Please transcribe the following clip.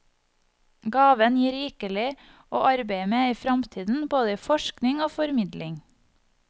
Gaven gir rikelig å arbeide med i fremtiden, både i forskning og formidling.